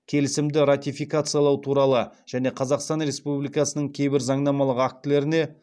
келісімді ратификациялау туралы және қазақстан республикасының кейбір заңнамалық актілеріне